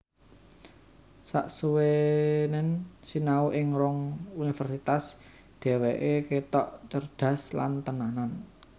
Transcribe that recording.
Saksuwenen sinau ing rong Universitas dheweke ketok cerdhas lan tenanan